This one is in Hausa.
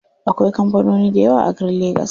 Akwai kampanoni dayawa a garin legas.